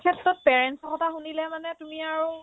ক্ষেত্ৰত parents ৰ কথা শুনিলে মানে তুমি আৰু